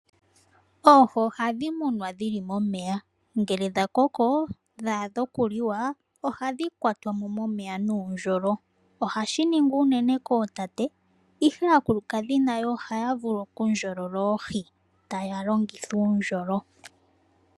Oohi ohadhi munwa dhili momeya, ngele dha koko dha adha oku liwa ohadhi kwatwa mo momeya nuundjolo. Ohashi ningwa unene kootate ihe aakulukadhi nayo ohaya vulu oku ndjolola oohi taya longitha uundjolo.